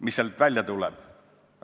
Mis sealt välja tuleb?